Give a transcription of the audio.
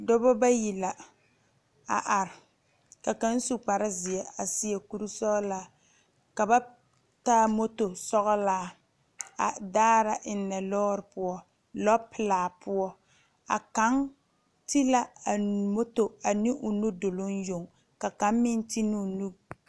Dɔɔba bayi la a are ka kaŋ su kpare ziɛ a seɛ kuri sɔglɔ ka ba taa moto sɔglaa a daare eŋe lɔre poɔ lɔ pelaa poɔ a kaŋ te la a moto ane o nudolu yoŋ ka kaŋa ti ne o nu.